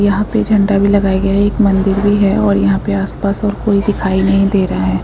यहाँ पे एक झण्डा भी लगाया गया है एक मंदिर भी है और यहाँ पे आस-पास कोई दिखाई नहीं दे रहा है।